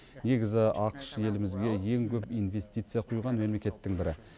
негізі ақш елімізге ең көп инвестиция құйған мемлекеттің бірі